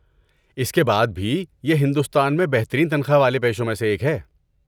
اس کے بعد بھی، یہ ہندوستان میں بہترین تنخواہ والے پیشوں میں سے ایک ہے۔